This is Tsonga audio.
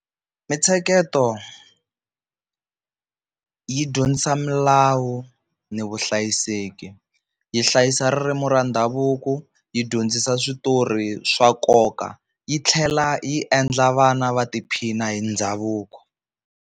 Mintsheketo yi dyondzisa milawu ni vuhlayiseki, yi hlayisa ririmi ra ndhavuko yi dyondzisa switori swa nkoka, yi tlhela yi endla vana va tiphina hi ndhavuko.